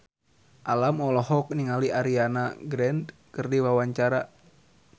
Alam olohok ningali Ariana Grande keur diwawancara